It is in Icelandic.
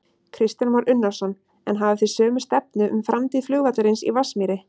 Kristján Már Unnarsson: En hafið þið sömu stefnu um framtíð flugvallarins í Vatnsmýri?